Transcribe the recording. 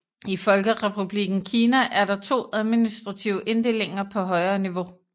I Folkerepublikken Kina er der to administrative inddelinger på højere niveau